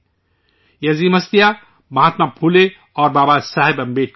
یہ عظیم ہستیاں مہاتما پھولے اور بابا صاحب امبیڈکر ہیں